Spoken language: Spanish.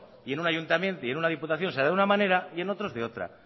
y en un ayuntamiento y en una diputación se hará de una manera y en otros de otra